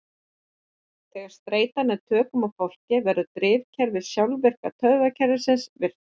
Þegar streita nær tökum á fólki verður drifkerfi sjálfvirka taugakerfisins virkt.